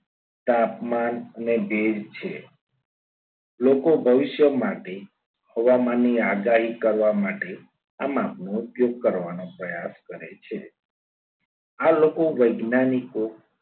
તાપમાન અને ભેજ છે. લોકો ભવિષ્ય માટે હવામાનની આગાહી કરવા માટે આમાં ઉપયોગ કરવાનો પ્રયાસ કરે છે આ લોકો વૈજ્ઞાનિકો